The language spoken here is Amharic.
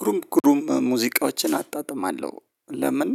ግሩም ግሩም ሙዚቃዎችን አጣጥማለሁ። ለምን